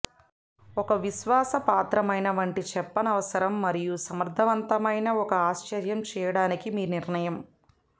ఒక విశ్వాసపాత్రమైన వంటి చెప్పనవసరం మరియు సమర్థవంతమైన ఒక ఆశ్చర్యం చేయడానికి మీ నిర్ణయం